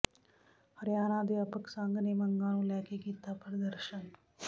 ਹਰਿਆਣਾ ਅਧਿਆਪਕ ਸੰਘ ਨੇ ਮੰਗਾਂ ਨੂੰ ਲੈ ਕੇ ਕੀਤਾ ਪ੍ਰਦਰਸ਼ਨ